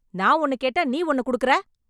நான் ஒன்னு கேட்டா நீ ஒன்னு குடுக்குற